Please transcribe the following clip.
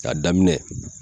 K'a daminɛ